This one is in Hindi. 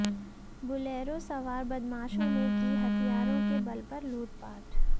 बुलेरो सवार बदमाशों ने की हथियारों के बल पर लूटपाट